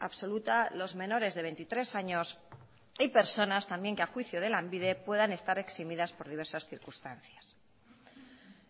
absoluta los menores de veintitrés años y personas también que a juicio de lanbide puedan estar eximidas por diversas circunstancias